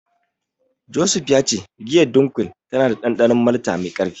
Joseph ya ce giyar Dunkel tana da dandanon malta mai karfi.